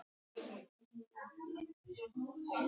Karl: Er það mikið?